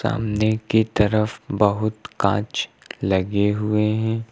सामने की तरफ बहुत कांच लगे हुए हैं।